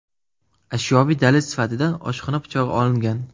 Ashyoviy dalil sifatida oshxona pichog‘i olingan.